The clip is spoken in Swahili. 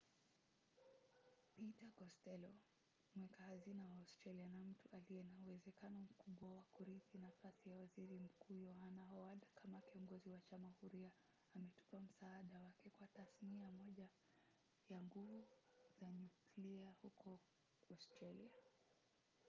peter kostello mweka hazina wa australia na mtu aliye na uwezekano mkubwa wa kurithi nafasi ya waziri mkuu yohana howad kama kiongozi wa chama huria ametupa msaada wake kwa tasnia moja ya nguvu za nyuklia huko australia